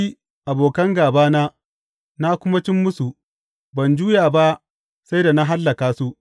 Na bi abokan gābana na kuma cim musu; ban juya ba sai da na hallaka su.